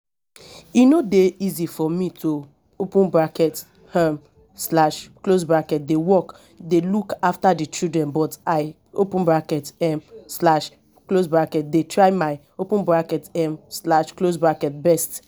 e no dey easy for me to open bracket um slash close bracket dey work dey look after the children but i open bracket um slash close bracket dey try my open bracket um slash close bracket best